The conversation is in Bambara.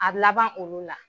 A laban olu la.